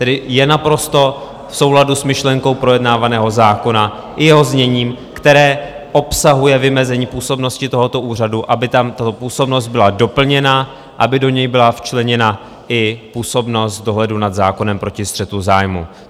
Tedy je naprosto v souladu s myšlenkou projednávaného zákona i jeho zněním, které obsahuje vymezení působnosti tohoto úřadu, aby tam tato působnost byla doplněna, aby do něj byla včleněna i působnost dohledu nad zákonem proti střetu zájmů.